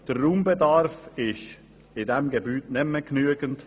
Der Raumbedarf ist in diesem Gebäude nicht mehr genügend.